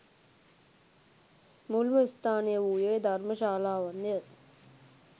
මුල්ම ස්ථානය වූයේ, ධර්ම ශාලාවන්ය.